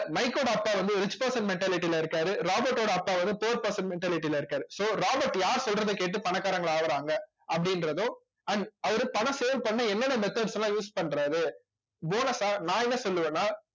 மைக்கோட அப்பா வந்து rich person mentality ல இருக்காரு ராபர்ட்டோட அப்பா வந்து poor person mentality ல இருக்காரு so ராபர்ட் யார் சொல்றதைக் கேட்டு பணக்காரங்களா ஆகுறாங்க அப்படின்றதோ and அவரு பணம் save பண்ண என்னென்ன methods எல்லாம் use பண்றாரு bonus ஆ நான் என்ன சொல்லுவேன்னா